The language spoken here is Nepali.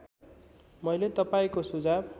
मैले तपाईँको सुझाव